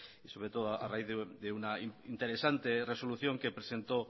sobre todo a raíz de una interesante resolución que presentó